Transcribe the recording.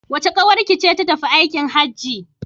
Wace ƙawarki ce ta tafi aikin Hajji?